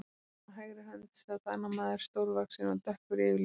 Honum á hægri hönd sat annar maður, stórvaxinn og dökkur yfirlitum.